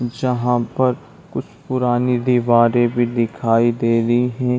जहाँ पर पुरानी दीवार भी दिखाई दे रही है।